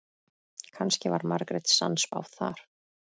Kannski var Margrét sannspá þar.